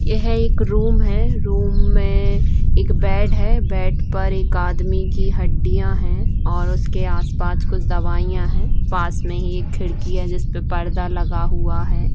यहाँ एक रूम है रूम में एक बेड है बेड पर एक आदमी की हड्डिया है और उसके आस-पास कुछ दवाइया है पास में ही एक खिड़की है जिसपे पर्दा लगा हुआ है।